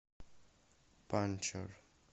панчер